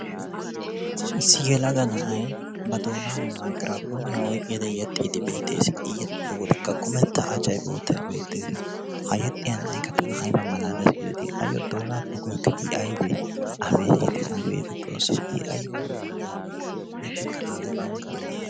Issi yelaga na'ay ba doonaani maygiranppooniya oyqqidi yeexiidi bettees. I yexxiyo wodekka kummetta Achchay boottay beettees. Ha yexxiya nayikka tana ayba malaalees giideti ayyo doonaappe I aybee abeeti abeet xoosso I ayba malaaliya na'ee yettikka agge ayba tana lo'i?